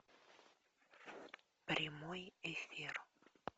прямой эфир